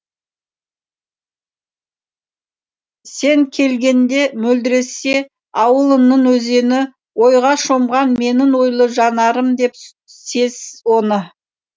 сен келгенде мөлдіресе ауылыңның өзені ойға шомған менің ойлы жанарым деп сез оны